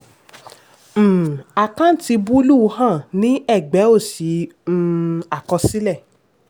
um àkántì búlúù hàn ní ẹgbẹ́ òsì um àkọsílẹ̀.